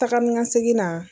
Taga ni ka segin na